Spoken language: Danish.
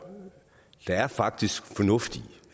der er faktisk fornuft i